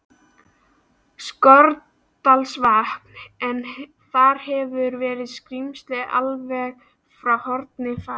Skorradalsvatns, en þar hefur verið skrímsli alveg frá fornu fari.